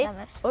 og